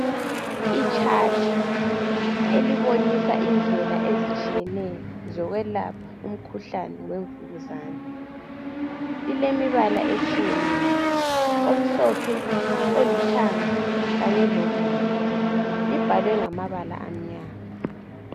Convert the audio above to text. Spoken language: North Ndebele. Ichat elibonisa indlela ezitshiyeneyo zokwelapha umkhuhlane wemvukuzane ilemibala etshiyeneyo omhlophe olithanga kanye lobomvu libhalwe ngamabala amnyama.